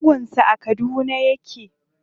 Shagon sa a Kaduna yake.